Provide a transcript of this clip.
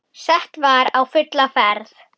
Sett var á fulla ferð.